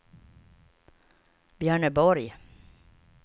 Björneborg